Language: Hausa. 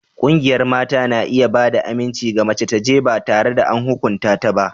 Ƙungiyar mata na iya ba da aminci ga mace ta ji ba tare da an hukunta ta ba.